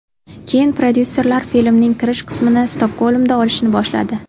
Keyin prodyuserlar filmning kirish qismini Stokgolmda olishni boshladi.